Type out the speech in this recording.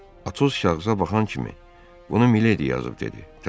Atos kağıza baxan kimi: bunu miledi yazıb dedi.